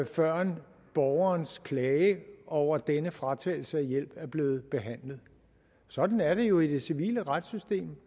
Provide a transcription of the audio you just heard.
før borgerens klage over denne fratagelse af hjælp er blevet behandlet sådan er det jo i det civile retssystem